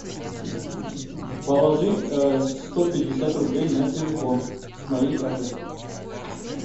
положить сто пятьдесят рублей на телефон с моей карты